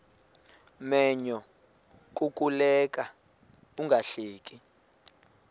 menyo kukuleka ungahleki